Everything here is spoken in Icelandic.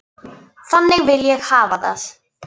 Þannig vil ég hafa það.